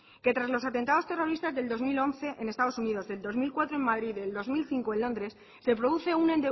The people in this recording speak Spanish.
tras los atentados terroristas del dos mil once en estados unidos del dos mil cuatro en madrid del dos mil cinco en londres se produce un